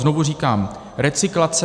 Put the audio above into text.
Znovu říkám - recyklace.